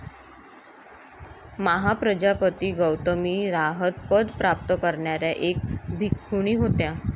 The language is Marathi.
महाप्रजापती गौतमी रहात पद प्राप्त करणाऱ्या एक भिक्खुणी होत्या.